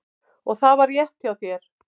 Og það var rétt hjá þér.